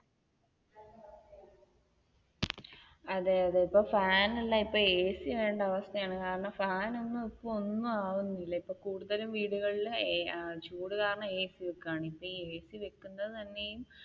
അതെ അതെ ഇപ്പം ഫാനല്ല ഇപ്പോ AC വേണ്ട അവസ്ഥയാണ് കാരണം ഫാനൊന്നും ഇപ്പം ഒന്നുമാവുന്നില്ല ഇപ്പൊ കൂടുതൽ വീടുകളിലും ചൂടുകാരണം AC വെക്കുകയാണ് ഇപ്പൊ ഈ AC വെക്കുന്നത് തന്നെ